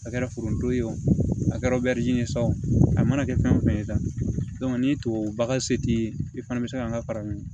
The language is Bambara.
A kɛra foronto ye o a kɛra ye sa o a mana kɛ fɛn o fɛn ye tan ni tubabu bagan se t'i ye i fana bɛ se ka n ka fara nin